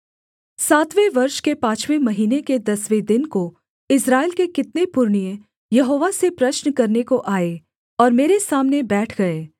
सातवें वर्ष के पाँचवें महीने के दसवें दिन को इस्राएल के कितने पुरनिये यहोवा से प्रश्न करने को आए और मेरे सामने बैठ गए